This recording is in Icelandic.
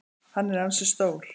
Hann er ansi stór.